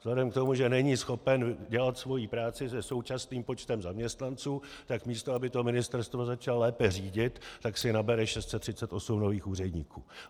Vzhledem k tomu, že není schopen dělat svoji práci se současným počtem zaměstnanců, tak místo aby to ministerstvo začal lépe řídit, tak si nabere 638 nových úředníků.